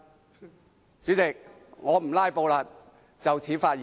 代理主席，我不"拉布"了，謹此發言。